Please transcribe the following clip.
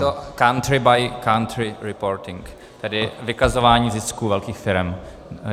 Je to Country by Country Reporting, tedy vykazování zisku velkých firem.